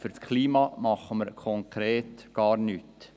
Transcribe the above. Für das Klima tun wir konkret gar nichts.